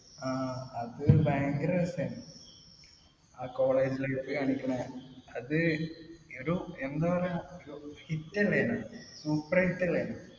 ആഹ് അത് ഭയങ്കര രസായിരുന്നു. ആ college ലൊക്കെ കാണിക്കുന്നത്. അത്, ഒരു എന്താ പറയാ. Hit അല്ലായിരുന്നോ? Super hit അല്ലായിരുന്നോ?